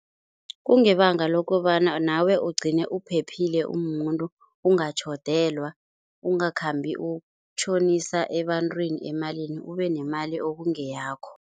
Kungebanga lokobana nawe ugcine uphephile umumuntu ungatjhodelwa, ungakhambi ukutjhonisa ebantwini emalini ubenemali ekungeyakho.